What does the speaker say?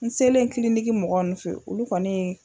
N selen kiliniki mɔgɔ nunnu fɛ yen, olu kɔni.